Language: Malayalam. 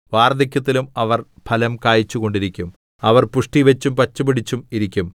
വാർദ്ധക്യത്തിലും അവർ ഫലം കായിച്ചുകൊണ്ടിരിക്കും അവർ പുഷ്ടിവച്ചും പച്ചപിടിച്ചും ഇരിക്കും